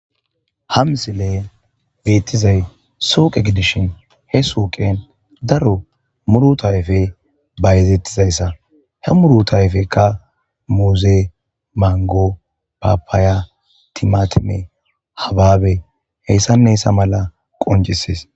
ha msile beettizay suuqe gidishin he suuqen daro muru tayfe bayezettizayssa he muru tayfekka muuze mango papaya timatime habaabe heyssanneyssa mala qoncisis